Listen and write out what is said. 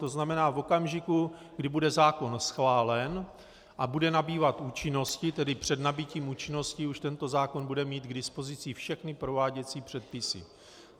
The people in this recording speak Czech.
To znamená, v okamžiku, kdy bude zákon schválen a bude nabývat účinnosti, tedy před nabytím účinnosti, už tento zákon bude mít k dispozici všechny prováděcí předpisy.